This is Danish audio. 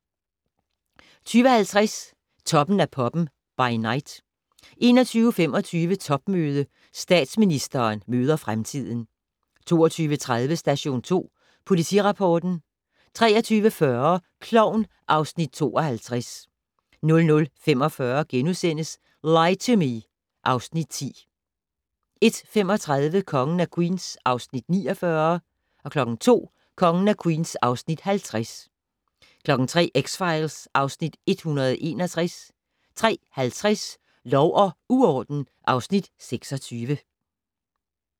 20:50: Toppen af poppen - by night 21:25: Topmøde - Statsministeren møder fremtiden 22:30: Station 2 Politirapporten 23:40: Klovn (Afs. 52) 00:45: Lie to Me (Afs. 10)* 01:35: Kongen af Queens (Afs. 49) 02:00: Kongen af Queens (Afs. 50) 03:00: X-Files (Afs. 161) 03:50: Lov og uorden (Afs. 26)